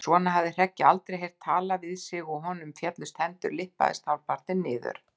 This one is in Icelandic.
Svona hafði Hreggi aldrei heyrt talað við sig og honum féllust hendur, lyppaðist hálfpartinn niður.